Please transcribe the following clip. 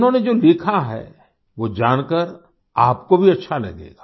उन्होंने जो लिखा है वो जानकर आपको भी अच्छा लगेगा